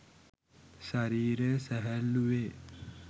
ශරීරය සැහැල්ලු වේ.